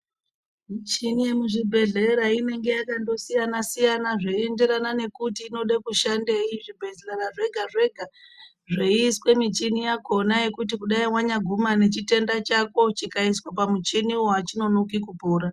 Michini yemuzvibhedhlera inonga yakasiyana siyana zveienderana kuti inoda kushandeyi zvibhedhlera zvega zvega zveyiiswa michina yakona yekuti kudai wanya guma nechitenda chako chikaiswa pamuchina wo hachinonoki kupora.